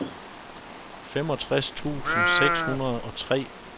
femogtres tusind seks hundrede og tre